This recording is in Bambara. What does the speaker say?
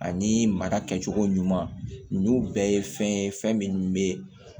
Ani mara kɛcogo ɲuman ninnu bɛɛ ye fɛn ye fɛn min bɛ